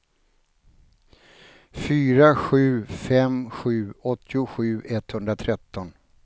fyra sju fem sju åttiosju etthundratretton